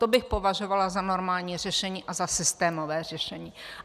To bych považovala za normální řešení a za systémové řešení.